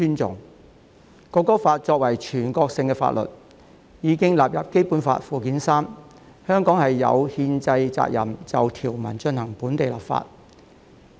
《中華人民共和國國歌法》作為全國性法律，已經列入《基本法》附件三，香港有憲制責任就條文進行本地立法。